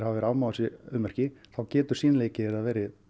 afmá þessi ummerki þá getur sýnileiki þeirra verið